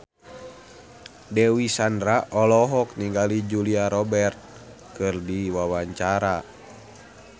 Dewi Sandra olohok ningali Julia Robert keur diwawancara